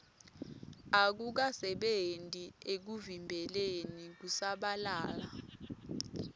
akukasebenti ekuvimbeleni kusabalala